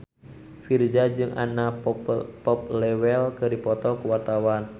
Virzha jeung Anna Popplewell keur dipoto ku wartawan